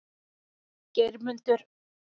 Geirmundur